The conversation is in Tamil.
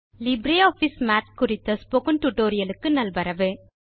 லிப்ரியாஃபிஸ் மாத் குறித்த ஸ்போக்கன் டியூட்டோரியல் க்கு நல்வரவு